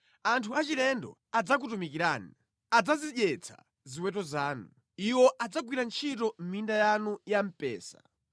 Anthu achilendo adzakutumikirani; adzazidyetsa ziweto zanu; iwo adzagwira ntchito mʼminda yanu ya mpesa.